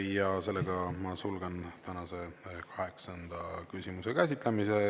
Ja sellega ma sulgen tänase kaheksanda küsimuse käsitlemise.